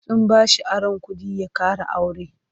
Sun bashi aron kuɗi ya ƙara aure.